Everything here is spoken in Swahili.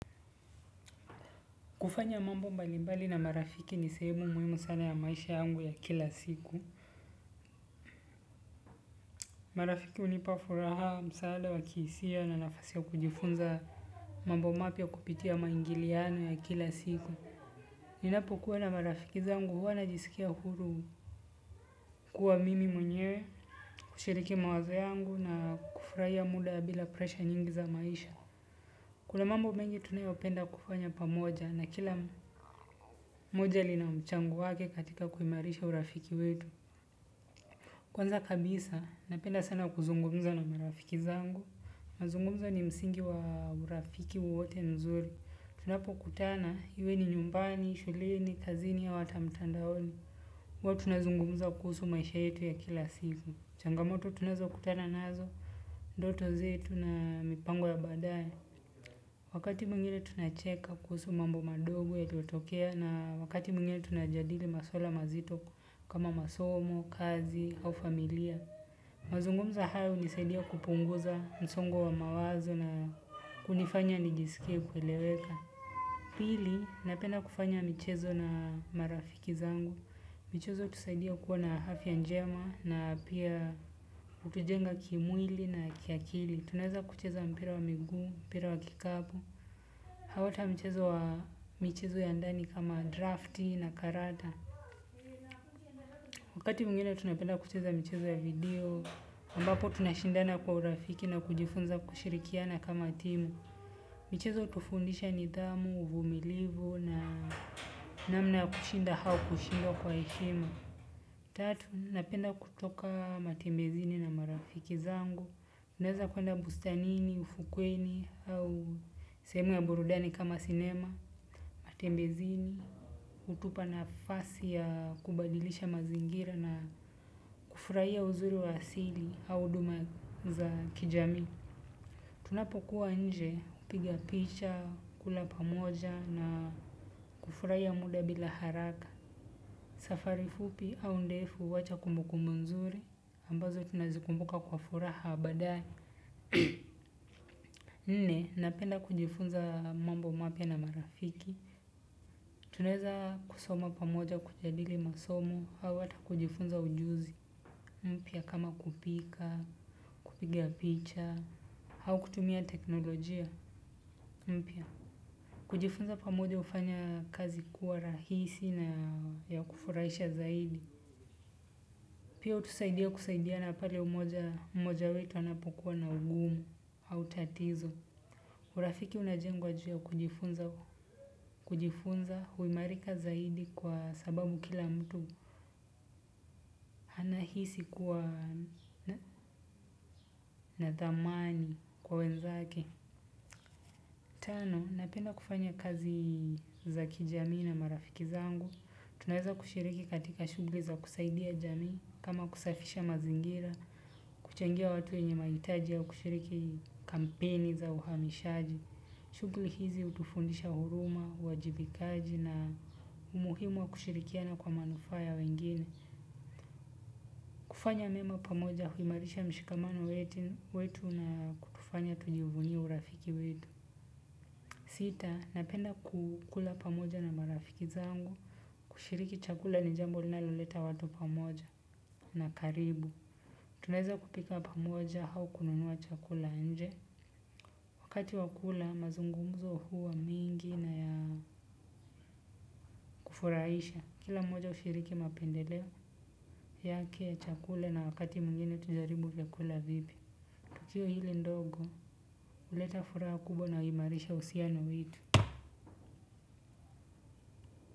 Kufanya mambo mbalimbali na marafiki ni sehemu muhimu sana ya maisha yangu ya kila siku. Marafiki unipa furaha msaale wa kiisia na nafasi ya kujifunza mambo mapya kupitia maingiliano ya kila siku. Ninapokuwa na marafiki zangu huwa najisikia huru kuwa mimi mwenyewe kushiriki mawazo yangu na kufraia muda ya bila presha nyingi za maisha. Kuna mambo mengi tunayopenda kufanya pamoja na kila moja lina mchango wake katika kuimarisha urafiki wetu. Kwanza kabisa, napenda sana kuzungumza na marafiki zangu. Mazungumza ni msingi wa urafiki wowote nzuri. Tunapokutana, hiwe ni nyumbani, shuleni, kazini au ata mtandaoni. Huwa tunazungumza kuhusu maisha yetu ya kila siku. Changamoto tunazokutana nazo. Ndoto zetu na mipango ya baadae. Wakati mwingine tunacheka kuhusu mambo madogo yaliotokea na wakati mwingine tunajadili maswala mazito kama masomo, kazi au familia. Mazungumza haya hunisaidia kupunguza msongo wa mawazo na kunifanya nijisikie kueleweka. Pili, napenda kufanya michezo na marafiki zangu. Michezo utusaidia kuwa na hafya njema na pia utujenga kimwili na kiakili. Tunaweza kucheza mpira wa miguu, mpira wa kikapu. Hau ata mchezo wa michezo ya ndani kama drafti na karata. Wakati mwingine tunapenda kucheza michezo ya video, ambapo tunashindana kwa urafiki na kujifunza kushirikiana kama timu. Michezo utufundisha nidhamu uvumilivu na namna ya kushinda hau kushindwa kwa heshima. Tatu, napenda kutoka matembezini na marafiki zangu. Tunaeza kuenda bustanini, ufukweni hau sehemu ya burudani kama sinema, matembezini. Hutupa nafasi ya kubadilisha mazingira na kufurahia uzuri wa asili au huduma za kijamii. Tunapokua nje, upiga picha, kula pamoja na kufurahia muda bila haraka. Safari fupi au ndefu huacha kumbukumbu nzuri ambazo tunazikumbuka kwa furaha baadae. Nne, napenda kujifunza mambo mapya na marafiki. Tunaeza kusoma pamoja kujadili masomo, hau ata kujifunza ujuzi, mpya kama kupika, kupiga picha, hau kutumia teknolojia, mpya. Kujifunza pamoja hufanya kazi kuwa rahisi na ya kufuraisha zaidi. Pia utusaidia kusaidiana pale umoja mmoja wetu anapokua na ugumu au tatizo. Urafiki unajengwa ju ya kujifunza huimarika zaidi kwa sababu kila mtu anahisi kuwa na thamani kwa wenzake. Tano, napenda kufanya kazi za kijamii na marafiki zangu. Tunaeza kushiriki katika shughli za kusaidia jamii kama kusafisha mazingira kuchangia watu wenye mahitaji au kushiriki kampeni za uhamishaji. Shughli hizi utufundisha huruma, uwajibikaji na umuhimu wa kushirikiana kwa manufaa ya wengine. Kufanya mema pamoja huimarisha mshikamano wetu na kutufanya tujivunie urafiki wetu. Sita napenda ku kula pamoja na marafiki zangu. Kushiriki chakula ni jambo linaloleta watu pamoja na karibu. Tunaeza kupika pamoja hau kununua chakula nje. Wakati wa kula mazungumzo hua mingi na ya kufuraisha. Kila mmoja hushiriki mapendelea yake ya chakule na wakati mwingine tujaribu vyakula vipya tukio hili ndogo huleta furaha kubwa na uimarisha uusiano wetu.